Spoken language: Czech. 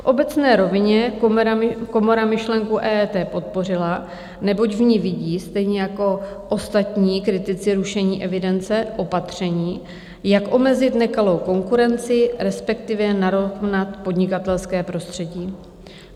V obecné rovině komora myšlenku EET podpořila, neboť v ní vidí, stejně jako ostatní kritici rušení evidence, opatření, jak omezit nekalou konkurenci, respektive narovnat podnikatelské prostředí.